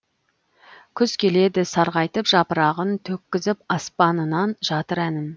күз келеді сарғайтып жапырағын төккізіп аспанынан жатыр әнін